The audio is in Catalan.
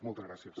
moltes gràcies